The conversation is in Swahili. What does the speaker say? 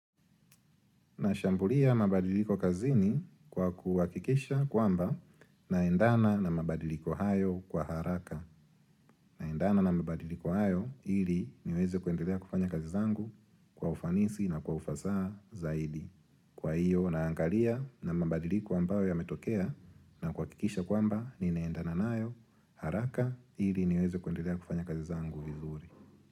Nashambulia mabadiliko kazini kwa kuhakikisha kwamba naendana na mabadiliko hayo kwa haraka. Naendana na mabadiliko hayo ili niweze kuendelea kufanya kazi zangu kwa ufanisi na kwa ufasaha zaidi. Kwa hiyo naangalia na mabadiliko ambayo yametokea na kuhakikisha kwamba ninaendana nayo haraka ili niweze kuendelea kufanya kazi zangu vizuri.